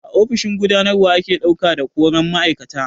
A ofishin gudanarwa ake ɗauka da koran ma'aikata.